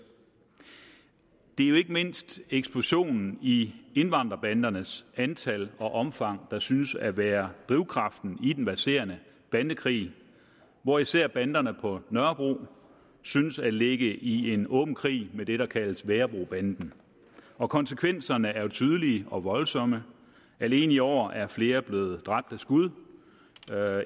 det er jo ikke mindst eksplosionen i indvandrerbandernes antal og omfang der synes at være drivkraften i den verserende bandekrig hvor især banderne på nørrebro synes at ligge i en åben krig med det der kaldes værebrobanden og konsekvenserne er jo tydelige og voldsomme alene i år er flere blevet dræbt af skud